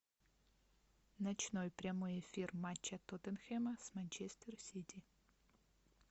ночной прямой эфир матча тоттенхэма с манчестер сити